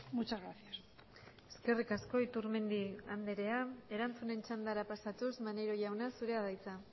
muchas gracias eskerrik asko iturmendi andrea erantzunen txandara pasatuz maneiro jauna zurea da hitza